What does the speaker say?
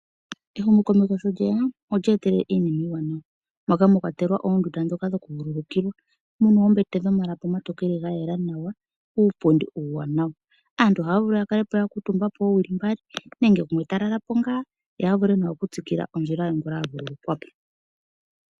Ehumokomeho sho lye ya, olya etelela iinima iiwanawa moka mwa kwatelwa oondunda ndhoka dhokuvululukilwa, mu na oombete dhomalapi omatokele ga yela nawa nuupundi uuwanawa. Aantu oha ya vulu ya kale po ya kuutumba po oowili mbali nenge gumwe ta lalapo ngaa ye a vule nawa okutsikila ondjila ye ngele a vululukwa po.